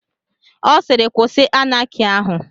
Ọ siiri kwụsị Anaki ahụ.